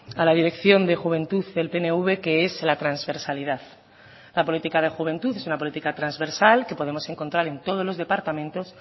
a la dirección de juventud del pnv que es la transversalidad la política de juventud es una política transversal que podemos encontrar en todos los departamentos